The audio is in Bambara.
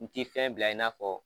N ti fɛn bila i n'a fɔ